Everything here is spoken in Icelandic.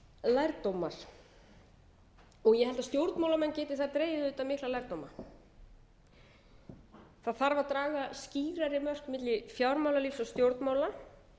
lærdómar ég held að stjórnmálamenn geti þar dregið auðvitað mikla lærdóma það þarf að draga skýrari mörk milli fjármálalífs og stjórnmála